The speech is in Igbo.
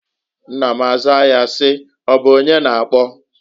Nna m azaa ya si: "Ọbụ onye na-akpọ?".